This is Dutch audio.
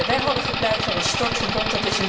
We hadden gepleit voor een stortverbod